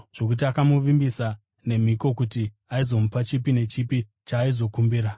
zvokuti akamuvimbisa nemhiko kuti aizomupa chipi nechipi chaaizokumbira.